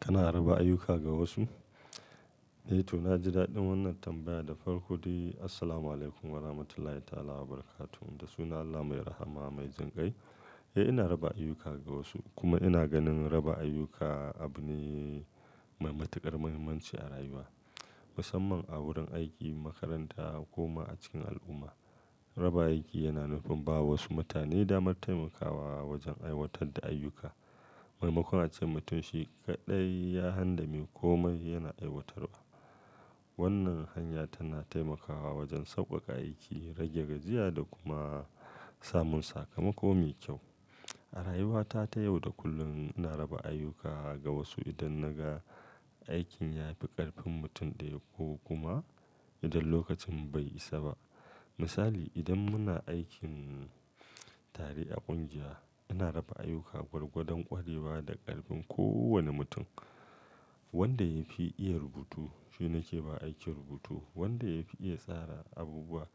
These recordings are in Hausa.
Kana raba ayyuka ga wasu? Eh to, na ji daɗin wannan tambaya da farko dai. Assalamualaikum warahmatullahi ta'ala wabarakatuh. Da sunan Allah mai rahama mai jin kai. Eh, ina raba ayyuka ga wasu kuma ina ganin raba ayyuka abu ne mai matuƙar muhimmanci a rayuwa. Musamman a wurin aiki, makaranta ko ma a cikin al'umma. Raba aiki yana nufin ba wa wasu mutane damar taimakawa wajen aiwatar da ayyuka. Maimakon a ce mutum shi kaɗai ya han da me komai yana aiwatarwa. Wannan hanya tana taimakawa wajen sauƙaƙa aiki, rage gajiya da kuma samun sakamako me kyau. A rayuwata ta yau da kullum ina raba ayyuka ga wasu idan na ga aikin ya fi ƙarfin mutum ɗaya ko kuma idan lokacin bai isa ba. Misali, idan muna aikin tare a ƙungiya, ina raba ayyuka gwargwadon ƙwarewa da ƙarfin kowane mutum. Wanda ya fi iya rubutu, shi nake ba aikin rubutu. Wanda ya fi iya tsara abubuwa,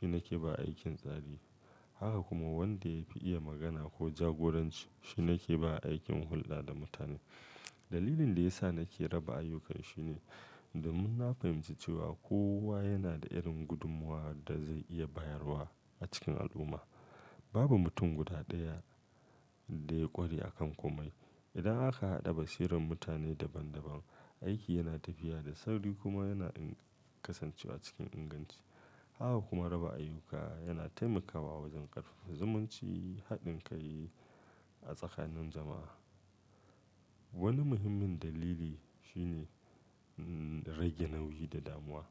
shi nake ba aikin tsari. Haka kuma wanda ya fi iya magana ko jagoranci, shi nake ba aikin hulɗa da mutane. Dalilin da ya sa nake raba ayyuka shine domin na fahimci cewa kowa yana da irin gudummuwa da zai iya bayarwa a cikin al'umma. Babu mutum guda ɗaya da ya ƙware a kan komai. Idan aka haɗa bashiran mutane daban-daban, aiki yana tafiya da sauri kuma yana iya kasancewa cikin inganci. Haka kuma raba ayyuka yana taimakawa wajen ƙarfafa zumunci, haɗin kai a tsakanin jama'a. Wani muhimmin dalili shine, mmh, rage nauyi da damuwa.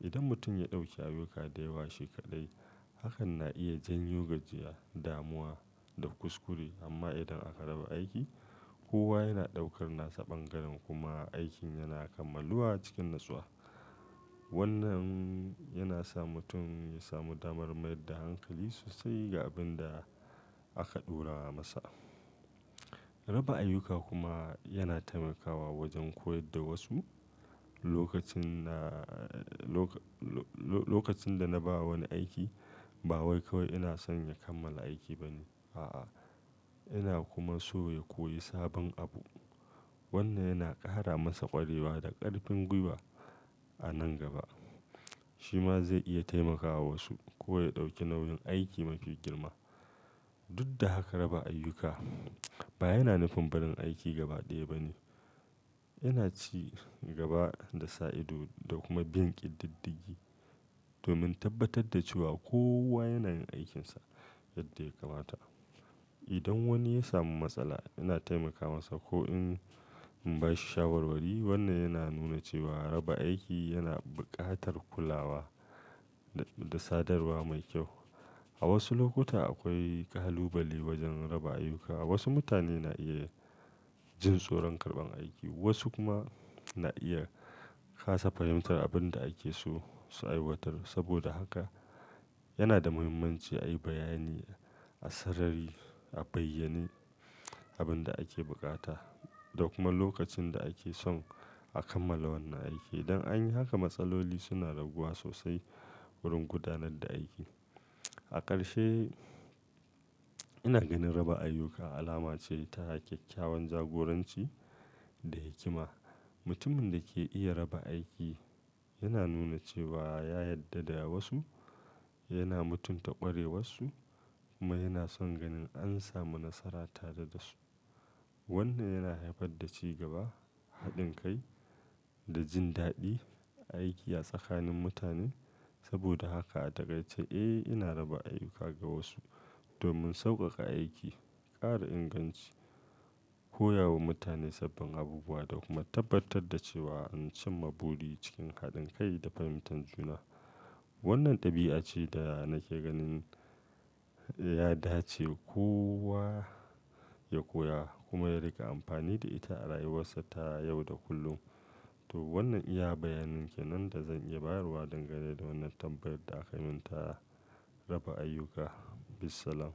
Idan mutum ya ɗauki ayyuka da yawa shi kaɗai, hakan na iya janyo gajiya, damuwa da kuskure. Amma idan aka raba aiki, kowa yana ɗaukar nasa bangaren kuma aikin yana kammaluwa cikin natsuwa. Wannan yana sa mutum ya samu damar mayar da hankali sosai ga abin da aka ɗora masa. Raba ayyuka kuma yana taimakawa wajen koyar da wasu. Lokacin na, lokacin da na ba wani aiki, ba wai kawai ina son ya kammala aiki ba ne, a'a. Ina kuma so ya koyi sabon abu. Wannan yana ƙara masa ƙwarewa da ƙarfin gwiwa a nan gaba. Shi ma zai iya taimakawa wasu ko ya ɗauki nauyin aiki mafi girma. Duk da haka raba ayyuka ba yana nufin barin aiki gaba ɗaya ba ne. Yana cigaba da sa ido da kuma bin ƙididdige domin tabbatar da cewa kowa yana yin aikinsa yadda ya kamata. Idan wani ya samu matsala, yana taimaka masa ko in in ba shi shawarwari. Wannan yana nuna cewa raba aiki yana buƙatar kulawa da sadarwa mai kyau. A wasu lokuta akwai kalubale wajen raba ayyuka. Wasu mutane na iya jin tsoron karɓan aiki, wasu kuma na iya kasa fahimtar abin da ake so su aiwatar. Saboda haka yana da muhimmanci a yi bayani a sarari, a bayyane abin da ake buƙata da kuma lokacin da ake son a kammala wannan aiki. Idan an yi haka, matsaloli suna raguwa sosai wurin gudanar da aiki. A ƙarshe, ina ganin raba ayyuka alama ce ta ƙyaƙƙyawan jagoranci da hikima. Mutumin da ke iya raba aiki yana nuna cewa ya yadda da wasu, yana mutunta ƙwarewarsu kuma yana son ganin an samu nasara tare da su. Wannan yana haifar da cigaba, haɗin kai da jin daɗin aiki a tsakanin mutanen. Saboda haka a takaice, eh, ina raba ayyuka ga wasu domin sauƙaƙa aiki, ƙara inganci, koya wa mutane sabbin abubuwa da kuma tabbatar da cewa an cimma buri cikin haɗin kai da fahimtar juna. Wannan ɗabi'a ce da nake ganin ya dace kowa ya koya kuma ya riƙa amfani da ita a rayuwarsa ta yau da kullum. To wannan iya bayanin kenan da zan iya bayarwa dangane da wannan tambayar da aka min ta raba ayyuka. Bissalam.